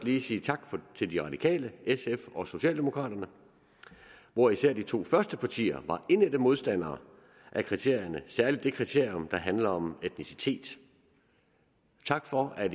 lige sige tak til de radikale sf og socialdemokraterne hvor især de to første partier var indædte modstandere af kriterierne særlig det kriterium der handler om etnicitet tak for at